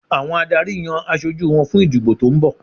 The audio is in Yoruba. Àwọn adarí yan aṣojú wọn fún ìdìbò tó ń bọ̀